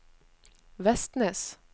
Vestnes